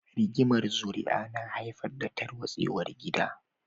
Rigimar zuri'a na haifar da tarwatsewar gida.